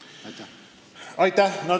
Aitäh!